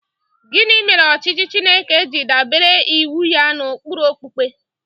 Gịnị mere ọchịchị Chineke ji adabere iwu ya n’ụkpụrụ okpukpe?